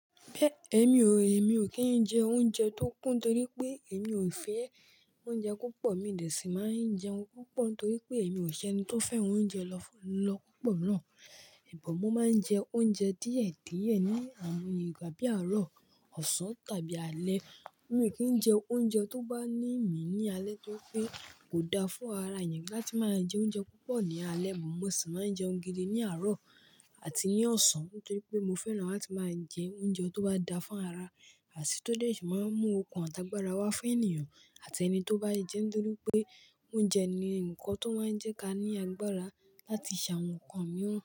Èmi ò, èmi ò kí ń jẹ oúnjẹ tó kún torí pé èmi ò fẹ́ oúnjẹ ko pọ̀. Mí dẹ sì máa ń jẹun púpọ̀ n torí pé èmi ò ṣẹni tó fẹ́ran oúnjẹ lọ́ lọ́ pupọ̀ náà. Ìbọ mo máa ń jẹ oúnjẹ díẹ̀ díẹ̀ ní àm, igba bí àárọ̀, ọ̀sán tàbí alẹ́. Mi o kì ń jẹ oúnjẹ tó bá ní mi ní alẹ́ torí pé kò da fún ara èèyàn láti máa jẹ oúnjẹ púpọ̀ ní alẹ́. Mo sì máa ń jẹun gidi ní àárọ̀ àti ní ọ̀sán nítorí pé mo fẹ́ran láti máa jẹ oúnjẹ tó bá da fún ara àti tó lè sì máa ń mú okun àtàgbàrà wá fún ènìyàn àti ẹni tó bá jẹ́. Nítorí pé oúnjẹ ni ǹkan tó máa ń jẹ́ ká ní agbára láti ṣe àwọn nnkan mìíràn.